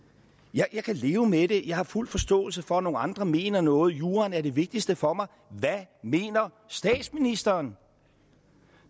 jeg kan leve med det jeg har fuld forståelse for at nogle andre mener noget juraen er det vigtigste for mig hvad mener statsministeren